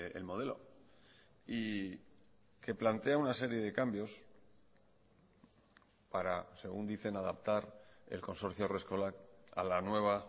el modelo y que plantea una serie de cambios para según dicen adaptar el consorcio haurreskolak a la nueva